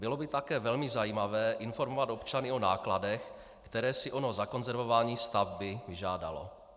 Bylo by také velmi zajímavé informovat občany o nákladech, které si ono zakonzervování stavby vyžádalo.